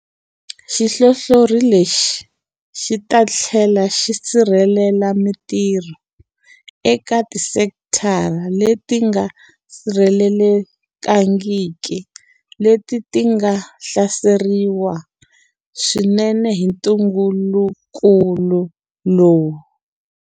Xihlohlori lexi xi ta tlhela xi sirhelela mitirho eka tisekitara leti nga sirhelelekangiki leti ti nga hlaseriwa swinene hi ntungukulu lowu.